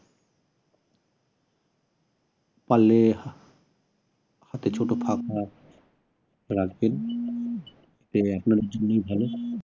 পারলে হাতে হাতে ছোট পাখা রাখবেন